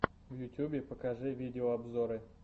в ютьюбе покажи видеообзоры